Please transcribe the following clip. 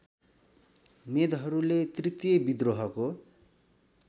मेदहरूले तृतिय विद्रोहको